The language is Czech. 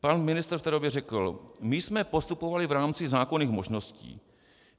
Pan ministr v té době řekl: My jsme postupovali v rámci zákonných možností.